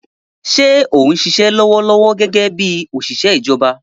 Ṣé o ń ṣiṣẹ́ lọ́wọ́lọ́wọ́ gẹ́gẹ́ bí òṣìṣẹ́ ìjọba?